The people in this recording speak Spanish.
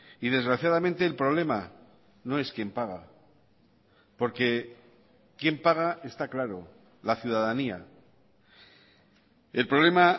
y desgraciadamente el problema no es quién paga porque quién paga está claro la ciudadanía el problema